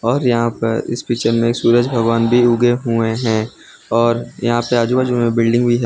और यहां पर इस पिक्चर में एक सूरज भगवान भी उगे हुए हैं और यहां पे आजू बाजू में बिल्डिंग भी है।